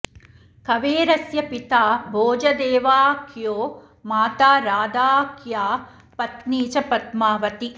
कवेरस्य पिता भोजदेवाऽऽख्यो माता राधाऽऽख्या पत्नी च पद्मावती